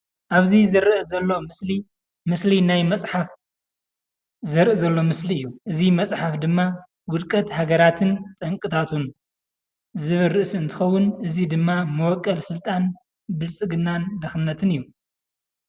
ኣብዚ ዝረእ ዘሎ ምስሊ ምስሊ ናይ መፃሓፈ ዝርእ ዞሎ ምስሊ እዩ፡፡ እዚ መፃሓፈ ድማ ዉድቀት ሃገራት ጠንቅታቱን ዝብል ርእስ እንተከዉን ኣዚ ድማ መቦቆል ስልጣን ብልፅግናን ድክነትን እዩ፡፡